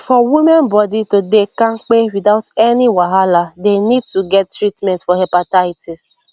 for women body to dey kampe without any wahala they need to get treatment for hepatitis